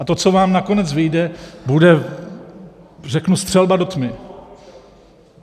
A to, co vám nakonec vyjde, bude, řeknu, střelba do tmy.